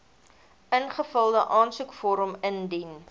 ingevulde aansoekvorm indien